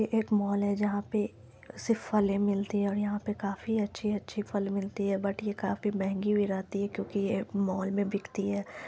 ये एक मॉल है जहां पे सिर्फ फले मिलती है और यहाँ पे काफी अच्छे - अच्छे फल मिलती है बट ये काफी महंगी भी मिलती है क्युकि ये मॉल में बिकती है।